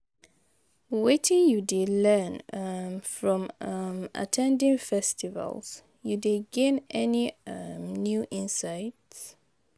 Wetin you dey learn um from um at ten ding festivals, you dey gain any um new insights?